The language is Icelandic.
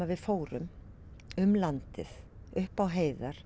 við fórum um landið upp á heiðar